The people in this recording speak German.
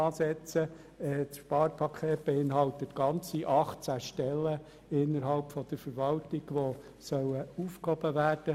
Gemäss Sparpaket sollen ganze 18 Stellen innerhalb der Verwaltung aufgehoben werden.